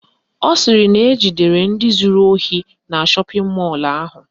Ọ sịrị na ejidere ndị zuru ohi na shọpịn mọlụ ahụ